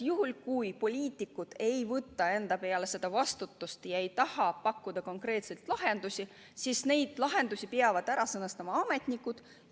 Juhul, kui poliitikud ei võta enda peale vastutust ja ei taha pakkuda konkreetseid lahendusi, siis peavad neid lahendusi sõnastama ametnikud.